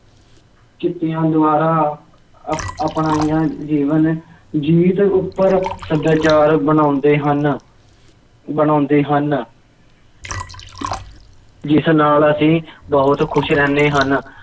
ਚਿੱਟੀਆਂ ਦੀਵਾਰਾਂ ਅਪ~ ਆਪਣਾਈਆਂ ਜੀਵਨ ਜਿਉਣ ਦੇ ਉੱਪਰ ਸੱਭਿਆਚਾਰ ਬਣਾਉਂਦੇ ਹਨ, ਬਣਾਉਂਦੇ ਹਨ ਜਿਸ ਨਾਲ ਅਸੀਂ ਬਹੁਤ ਖੁਸ਼ ਰਹਿੰਦੇ ਹਨ